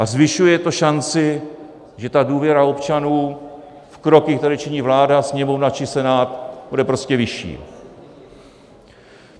A zvyšuje to šanci, že ta důvěra občanů v kroky, které činí vláda, Sněmovna či Senát, bude prostě vyšší.